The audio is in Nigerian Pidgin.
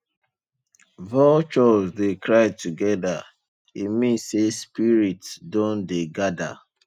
vultures dey cry together e mean say spirits don dey gather